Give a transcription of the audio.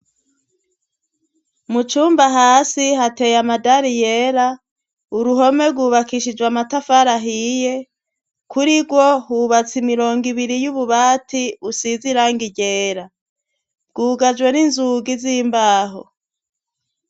Mu cumba hasi hateye amadari yera uruhome rwubakishijwe amatafarahiye kuri rwo hubatse imirongo ibiri y'ububati usize iranga iryera bwugajwe n'inzugi z'imbaho.